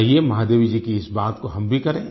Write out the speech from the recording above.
आइये महादेवी जी की इस बात को हम भी करें